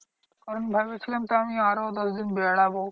কারণ ভেবেছিলাম তো আমি আরও দশদিন বেড়াবো।